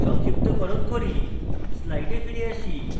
সংক্ষিপ্তকরণ করি slides ফিরে আসি